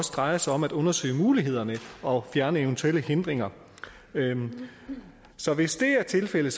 drejer sig om at undersøge mulighederne og fjerne eventuelle hindringer så hvis det er tilfældet